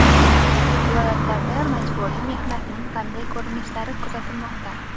Viloyatlarda majburiy mehnatning qanday ko‘rinishlari kuzatilmoqda?.